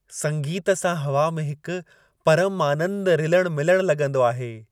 संगीत सां हवा में हिकु परमु आनंदु रिलणु मिलणु लॻंदो आहे।